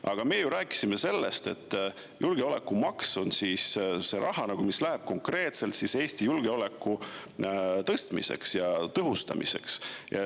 Aga me ju rääkisime sellest, et julgeolekumaks on see raha, mis läheb konkreetselt Eesti julgeoleku tõhustamiseks.